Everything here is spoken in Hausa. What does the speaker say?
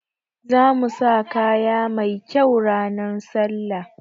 Zamu sa kaya mai kyau ran sallah